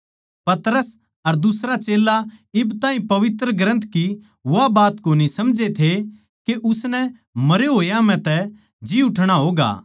पतरस अर दुसरा चेल्ला इब ताहीं पवित्र ग्रन्थ की वा बात कोनी समझे थे के उसनै मरे होया म्ह तै जी उठणा होगा